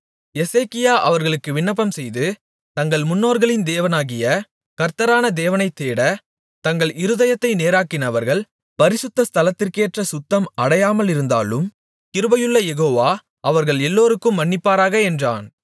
எசேக்கியா அவர்களுக்காக விண்ணப்பம்செய்து தங்கள் முன்னோர்களின் தேவனாகிய கர்த்தரான தேவனைத் தேட தங்கள் இருதயத்தை நேராக்கினவர்கள் பரிசுத்த ஸ்தலத்திற்கேற்ற சுத்தம் அடையாமலிருந்தாலும் கிருபையுள்ள யெகோவா அவர்கள் எல்லோருக்கும் மன்னிப்பாராக என்றான்